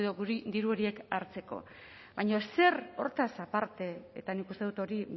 edo diru horiek hartzeko baina zer hortaz aparte eta nik uste dut hori